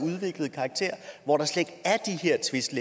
hvor der slet